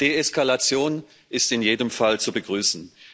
Deeskalation ist in jedem Fall zu begrüßen.